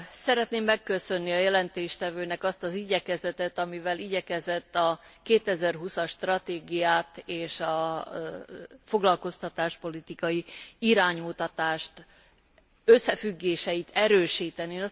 Szeretném megköszönni a jelentéstevőnek azt az igyekezetet, amivel igyekezett a 2020 as stratégiát és a foglalkoztatáspolitikai iránymutatás összefüggéseit erősíteni.